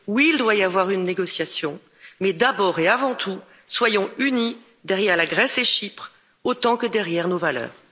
Oui, il doit y avoir une négociation, mais d'abord et avant tout, soyons unis derrière la Grèce et Chypre autant que derrière nos valeurs.